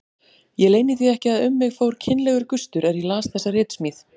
Ég leyni því ekki að um mig fór kynlegur gustur er ég las þessa ritsmíð.